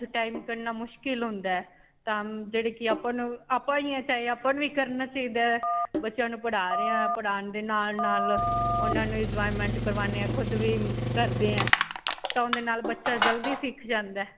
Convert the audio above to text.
'ਚੋਂ time ਕਢਣਾ ਮੁਸ਼ਕਿਲ ਹੁੰਦਾ ਹੈ. ਤਾਂ ਜਿਹੜੇ ਕਿ ਆਪਾਂ ਨੂੰ ਆਪਾਂ ਨੂੰ ਹੀ ਕਰਨਾ ਚਾਹਿਦਾ ਹੈ. ਬੱਚਿਆਂ ਨੂੰ ਪੜ੍ਹਾ ਰਹੇ ਹਾਂ ਪੜ੍ਹਾਉਣ ਦੇ ਨਾਲ-ਨਾਲ ਉਨ੍ਹਾਂ ਨੂੰ enjoyment ਕਰਵਾਉਣੇ ਹਾਂ ਖੁਦ ਵੀ ਕਰਦੇ ਹਾਂ ਤਾਂ ਉਂਦੇ ਨਾਲ ਬੱਚਾ ਜਲਦੀ ਸਿਖ ਜਾਂਦਾ ਹੈ.